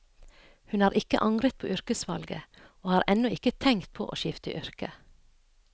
Hun har ikke angret på yrkesvalget, og har ennå ikke tenkt på å skifte yrke.